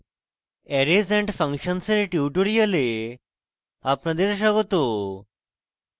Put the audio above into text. arrays & functions dear tutorial আপনাদের স্বাগত